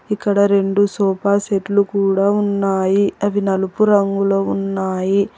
ఇక్కడ రెండు సోఫా సెట్లు కూడా ఉన్నాయి అవి నలుపు రంగులో ఉన్నాయి.